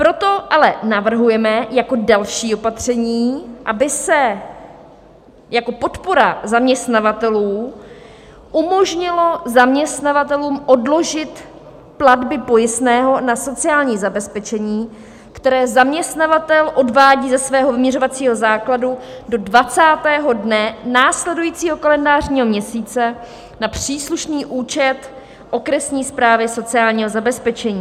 Proto ale navrhujeme jako další opatření, aby se jako podpora zaměstnavatelů umožnilo zaměstnavatelům odložit platby pojistného na sociální zabezpečení, které zaměstnavatel odvádí ze svého vyměřovacího základu do 20. dne následujícího kalendářního měsíce na příslušný účet okresní správy sociálního zabezpečení.